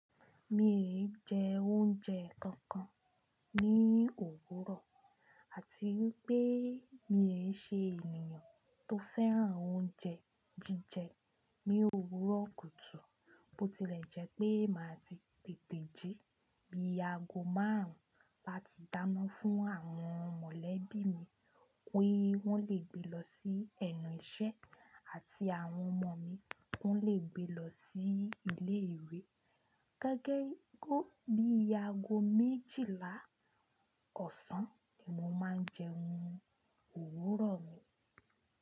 Mi è jẹ oúnjẹ kankan ní òwúrọ̀. Àti pé mi è se ènìyàn tó féràn oúnjẹ jíjẹ ní òwúrọ̀ kùtù, bó tilẹ̀ jẹ́ pé màá ti tètè jí, bíi ago márùn láti dáná fún àwọn mọ̀lẹ́bí mi pé wọ́n le gbé lọ sí ẹ̀nu iṣẹ́ àti àwọn ọmọ mi pé wọ́n le gbé lọ sí ilé ìwé. Gẹ́gẹ́ bí i ago méjìlá ọ̀sán ni mo máa ń jẹun òwúrọ̀ mi.